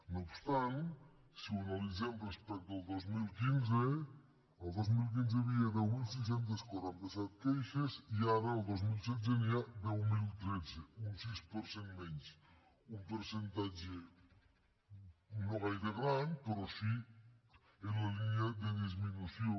no obstant si ho analitzem respecte al dos mil quinze el dos mil quinze hi havia deu mil sis cents i quaranta set queixes i ara el dos mil setze n’hi ha deu mil tretze un sis per cent menys un percentatge no gaire gran però sí en la línia de disminució